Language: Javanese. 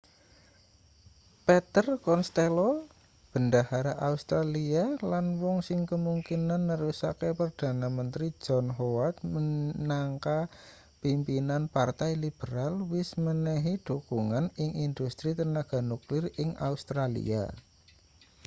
peter costello bendahara australia lan wong sing kemungkinan nerusake perdana menteri john howard minangka pimpinan partai liberal wis menehi dhukungan ing industri tenaga nuklir ing australia